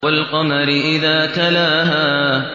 وَالْقَمَرِ إِذَا تَلَاهَا